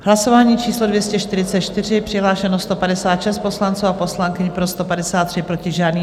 Hlasování číslo 244, přihlášeno 156 poslanců a poslankyň, pro 153, proti žádný.